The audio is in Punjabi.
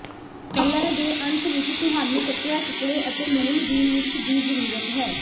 ਤਲ਼ਣ ਦੇ ਅੰਤ ਵਿਚ ਤੁਹਾਨੂੰ ਕੱਟਿਆ ਟੁਕੜੇ ਅਤੇ ਲੂਣ ਦੀ ਮਿਰਚ ਦੀ ਜ਼ਰੂਰਤ ਹੈ